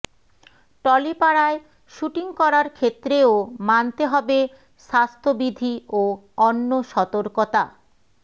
টলিপাড়ায় shooting করার ক্ষেত্রেও মানতে হবে স্বাস্থ্যবিধি ও অন্য সতর্কতা